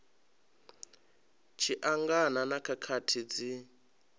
tshi angana na khakhathi dzi